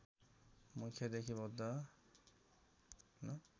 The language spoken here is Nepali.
मुख्यदेखि बौद्ध